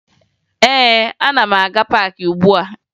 Ee, ana m aga paakị ugbua